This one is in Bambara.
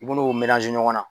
Munnu ɲɔgɔn na.